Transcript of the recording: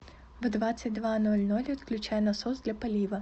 в двадцать два ноль ноль отключай насос для полива